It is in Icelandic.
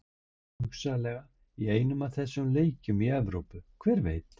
Hugsanlega í einum af þessum leikjum í Evrópu, hver veit?